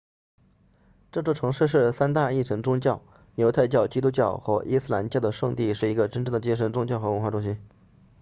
这座城市是三大一神宗教犹太教基督教和伊斯兰教的圣地是一个真正的精神宗教和文化中心